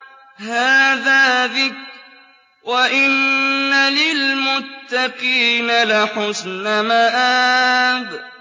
هَٰذَا ذِكْرٌ ۚ وَإِنَّ لِلْمُتَّقِينَ لَحُسْنَ مَآبٍ